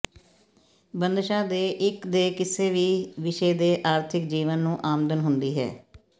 ਬੰਦਸ਼ਾ ਦੇ ਇੱਕ ਦੇ ਕਿਸੇ ਵੀ ਵਿਸ਼ੇ ਦੇ ਆਰਥਿਕ ਜੀਵਨ ਨੂੰ ਆਮਦਨ ਹੁੰਦੀ ਹੈ